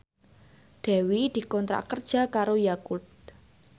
Dewi dikontrak kerja karo Yakult